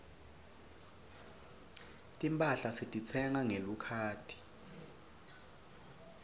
timphahla setitsengwa ngelikhadi